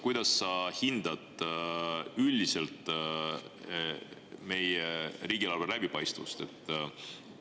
Kuidas sa hindad üldiselt meie riigieelarve läbipaistvust?